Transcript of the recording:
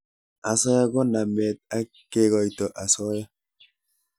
asoya ko namet ak kekoito asoya